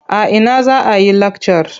A ina za a yi lakcar?